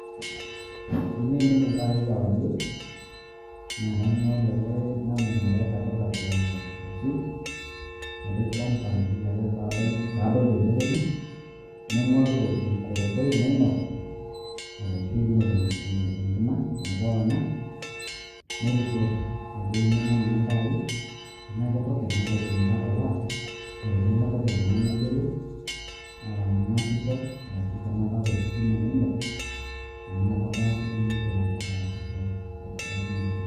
Teniimin iltaii kewarie, nakaing'oru ake namuna pe airrapirrap e switch ,napik on pa tenelo ake padol teneponu. Naing'oru enkoroboi nainok arashu ainok enkima metoong'a. Nairipot ajo eimina na iltaii. Ena ke token ,na kaidim ake atalaa. Na teneme token na nayiolou. Naasisho, arashu tenakaata ositima nainok, amu nakata atumoki ataasisho.